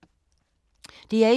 DR1